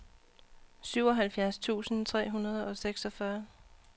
syvoghalvfjerds tusind tre hundrede og seksogfyrre